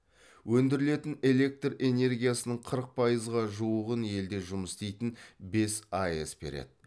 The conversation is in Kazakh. өндірілетін электр энергиясының қырық пайызға жуығын елде жұмыс істейтін бес аэс береді